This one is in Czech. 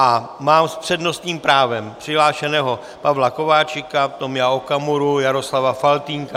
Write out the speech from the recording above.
A mám s přednostním právem přihlášeného Pavla Kováčika, Tomia Okamuru, Jaroslava Faltýnka.